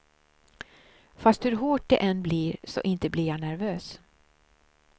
Fast hur hårt det än blir, så inte blir jag nervös.